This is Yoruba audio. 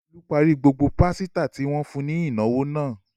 Olú parí gbogbo pásítà tí wọ́n fún ní ìnáwó náà.